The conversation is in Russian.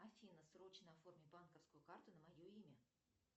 афина срочно оформи банковскую карту на мое имя